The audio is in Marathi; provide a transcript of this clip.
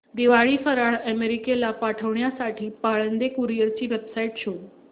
दिवाळी फराळ अमेरिकेला पाठविण्यासाठी पाळंदे कुरिअर ची वेबसाइट शोध